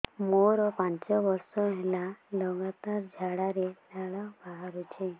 ମୋରୋ ପାଞ୍ଚ ବର୍ଷ ହେଲା ଲଗାତାର ଝାଡ଼ାରେ ଲାଳ ବାହାରୁଚି